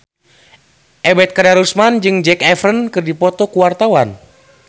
Ebet Kadarusman jeung Zac Efron keur dipoto ku wartawan